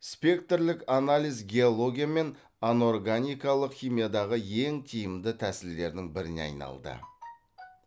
спектрлік анализ геология мен анорганикалық химиядағы ең тиімді тәсілдердің біріне айналды